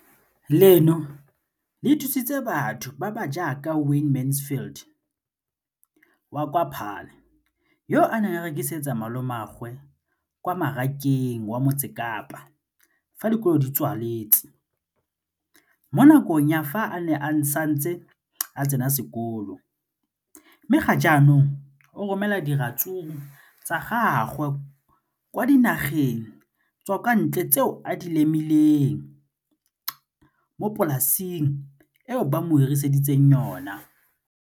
Leno le thusitse batho ba ba jaaka Wayne Mansfield, 33, wa kwa Paarl, yo a neng a rekisetsa malomagwe kwa Marakeng wa Motsekapa fa dikolo di tswaletse, mo nakong ya fa a ne a santse a tsena sekolo, mme ga jaanong o romela diratsuru tsa gagwe kwa dinageng tsa kwa ntle tseo a di lemileng mo polaseng eo ba mo hiriseditseng yona.